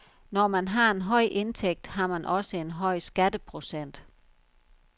Når man har en høj indtægt, har man også en høj skatteprocent.